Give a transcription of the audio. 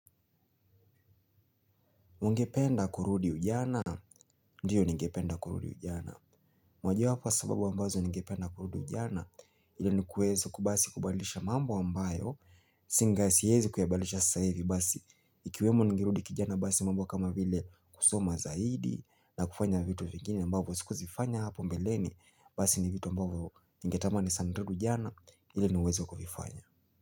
Ungependa kurudi ujana? Ndio ningependa kurudi ujana. Mojawapo ya sababu ambazo ningependa kurudi ujana ili ni kuweza basi kubadilisha mambo ambayo, singa siwezi kuyabadilisha sasa hivi basi ikiwemo ningerudi kijana basi mambo kama vile kusoma zaidi na kufanya vitu vingine ambavyo sikuzifanya hapo mbeleni basi ni vitu ambavyo ningetamani sana ujana ili niweze kuvifanya.